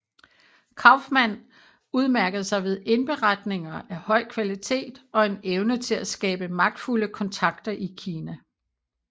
Kauffmann udmærkede sig ved indberetninger af høj kvalitet og en evne til at skabe magtfulde kontakter i Kina